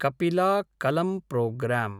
कपिला कलं प्रोग्रां